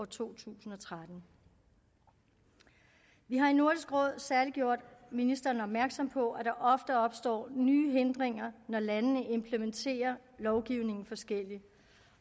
to tusind og tretten vi har i nordisk råd særlig gjort ministeren opmærksom på at der ofte opstår nye hindringer når landene implementerer lovgivningen forskelligt